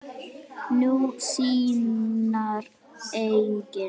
Nú, sínar eigin.